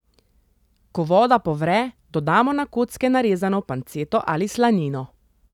Ko voda povre, dodamo na kocke narezano panceto ali slanino.